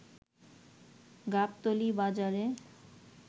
গাবতলী বাজারে